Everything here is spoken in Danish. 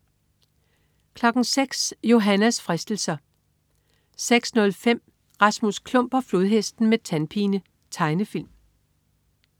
06.00 Johannas fristelser 06.05 Rasmus Klump og Flodhesten med tandpine. Tegnefilm